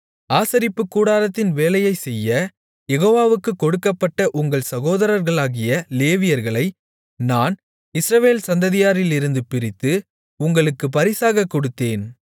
ஆசரிப்புக்கூடாரத்தின் வேலையைச் செய்ய யெகோவாவுக்குக் கொடுக்கப்பட்ட உங்கள் சகோதரர்களாகிய லேவியர்களை நான் இஸ்ரவேல் சந்ததியாரிலிருந்து பிரித்து உங்களுக்கு பரிசாகக் கொடுத்தேன்